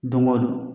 Don o don